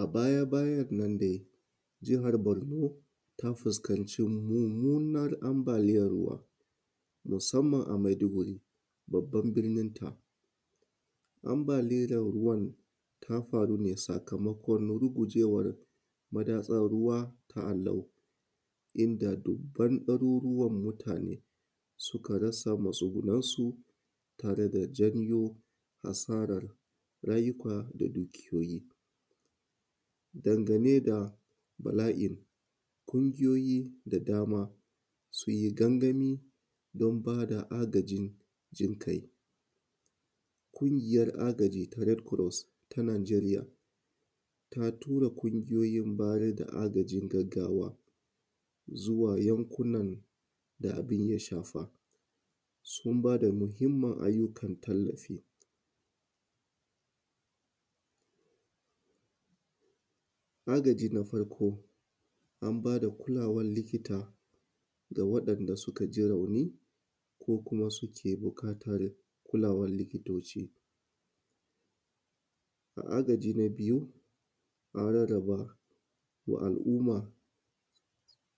A baya-bayan nan dai jihar Bornu ta fuskanci munmunan anbaliyan ruwa musanamn a Maiduguri babban birninta, anbaliyan ruwan ta faru ne sakamakon gujewar madatsan ruwa, a nan inda dubban ɗaruruwan mutane suka rasa matsugunansu da kuma daɗa zanjo asaran rayuka da dukiyoyi dangane da bala’in ƙungiyoyi da dama sun yi gangami don ba da agajin jin kai, ƙungiyan agajin red cross ta Najeriya ta tura ƙungiyoyi bayar da agajin gaggawa zuwa yankunan da abun yashafa sun ba da muhinmin ayyukan tallafi agaji na farko an ba da kulawan likita ga waɗanda suka ji rauni ko kuma suke buƙatan kulawan likitoci a agaji. Na biyu an rarraba wa al’umma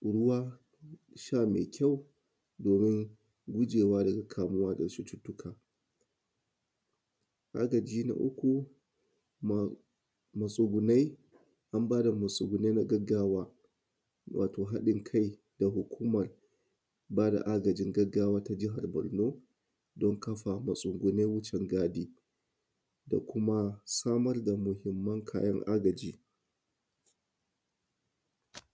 ruwan sha me kyau domin gujewa daga kamuda cututtuka, agaji, na uku matsugunai an ba da matsugunai na gaggawa wato haɗin kai da hukuman ba da agajin gaggawa ta jahar Borno don kafa matsugunan wucin gadi da kuma samar da muhinman kayan agaji.